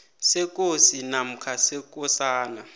sekosi namkha sekosana